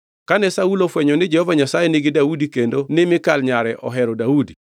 Kane Saulo ofwenyo ni Jehova Nyasaye nigi Daudi kendo ni Mikal nyare ohero Daudi.